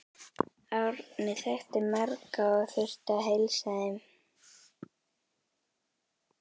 Árni þekkti marga og þurfti að heilsa þeim.